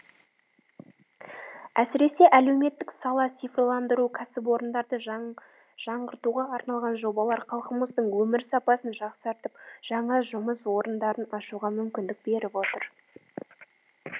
әсіресе әлеуметтік сала цифрландыру кәсіпорындарды жаңғыртуға арналған жобалар халқымыздың өмір сапасын жақсартып жаңа жұмыс орындарын ашуға мүмкіндік беріп отыр